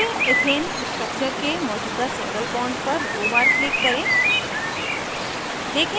तीसरे ethane structure के मौजूदा सिंगल bond पर दो बार click करें